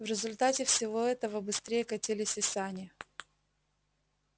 в результате всего этого быстрее катились и сани